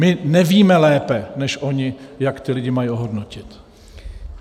My nevíme lépe než oni, jak ty lidi mají ohodnotit.